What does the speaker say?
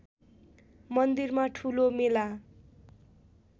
मन्दिरमा ठुलो मेला